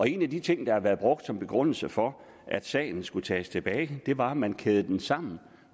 en af de ting der har været brugt som begrundelse for at sagen skulle tages tilbage var at man kædede den sammen